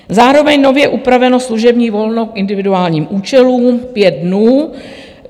Zároveň nově upraveno služební volno k individuálním účelům - pět dnů.